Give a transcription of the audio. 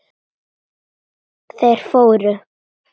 Þeir fóru.